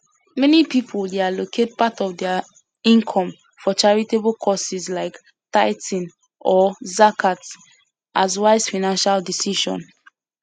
meni pipul dey allocate part of dia income for charitable causes like tithing or zakat as wise financial decision